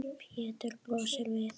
Pétur brosir við.